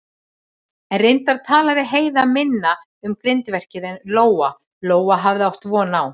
En reyndar talaði Heiða minna um grindverkið en Lóa-Lóa hafði átt von á.